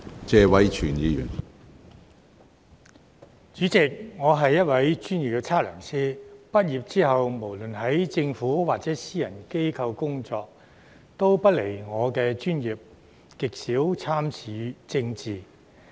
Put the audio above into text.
主席，我是一位專業測量師，畢業後無論在政府或私人機構工作，也離不外我的專業，極少參與政治。